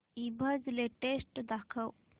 ईबझ लेटेस्ट दाखव